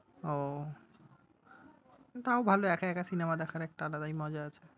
ওহ! তাও ভালো একা একা cinema দেখার একটা আলাদাই মজা আছে।